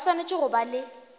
ba swanetše go ba le